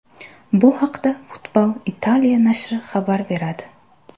Bu haqda Football Italia nashri xabar beradi .